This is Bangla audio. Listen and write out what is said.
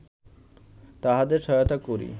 তাঁহাদের সহায়তা করি